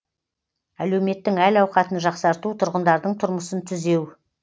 әлеуметтің әл ауқатын жақсарту тұрғындардың тұрмысын түзеу